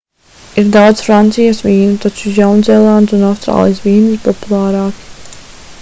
ir daudz francijas vīnu taču jaunzēlandes un austrālijas vīni ir populārāki